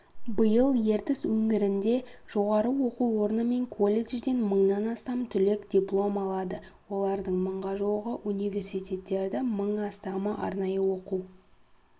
биыл ертіс өңірінде жоғару оқу орны мен колледжден мыңнан астам түлек диплом алады олардың мыңға жуығы университеттерді мың астамы арнайы оқу